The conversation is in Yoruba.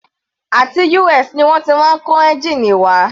Àti US ni wọ́n ti máa ń kó ẹ́ngìnì wá.